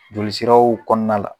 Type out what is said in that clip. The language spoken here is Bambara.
Joli siraw kɔnɔna la